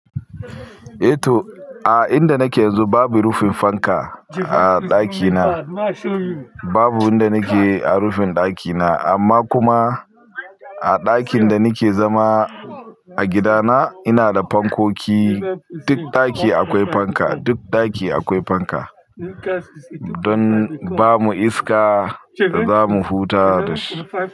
Eh to, a inda nake yanzu babu rufin fanka a ɗakina, Babu inda nake a rufin ɗakina amma kuma, a ɗakin da nake zama, a gida na, ina da fankoki, Duk ɗaki akwai fanka, duk ɗaki akwai fanka. Don bamu iska, da zamu huta da shi.